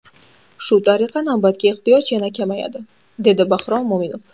Shu tariqa navbatga ehtiyoj yana kamayadi”, dedi Bahrom Mo‘minov.